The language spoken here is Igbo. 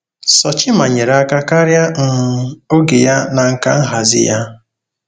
Sochimma nyere aka karịa um oge ya na nka nhazi ya.